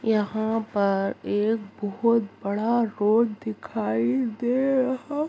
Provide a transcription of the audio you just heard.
यहाँ पर एक बहुत बड़ा रोड दिखाई दे रहा---